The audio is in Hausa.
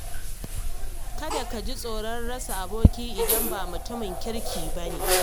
Kada ka ji tsoron rasa aboki idan ba mutumin kirki ba ne.